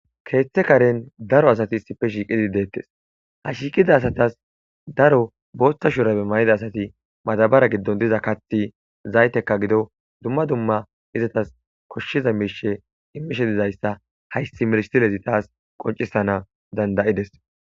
Keeththa karen daro asati iissippe shiqidi de'etes. Ha shiiqida asati daro booththa shurabe mayidi asati madabara giddon diza kaaththi zayteka gidon dumma dumma izetas koshshiza miishe immishe dizaysa hayssi misilezi taas qoncisees.